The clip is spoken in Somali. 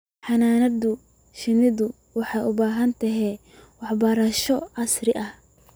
Xannaanada shinnidu waxay u baahan tahay waxbarasho casri ah.